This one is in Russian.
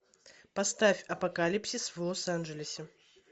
поставь апокалипсис в лос анджелесе